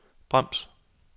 brems